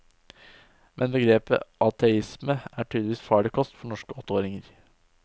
Men begrepet ateisme er tydeligvis farlig kost for norske åtteåringer.